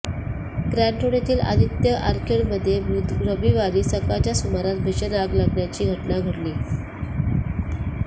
Grant Road Aditya आदित्य ऑर्किडमध्ये रविवारी सकाळच्या सुमारास भीषण आग लागल्याची घटना घडली